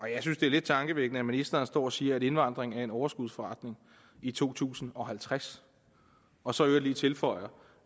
jeg synes det er lidt tankevækkende at ministeren står og siger at indvandring er en overskudsforretning i to tusind og halvtreds og så i øvrigt lige tilføjer